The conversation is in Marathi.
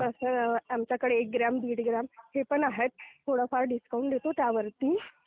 तसं आमच्याकडे एक ग्राम, दीड ग्राम हे पण आहेत. थोडंफार डिस्काउंट देतो त्यावरती.